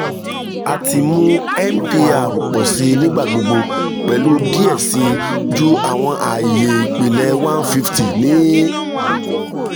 a ti mu mpr pọ si nigbagbogbo pẹlu diẹ sii ju awọn aaye ipilẹ one fifty ni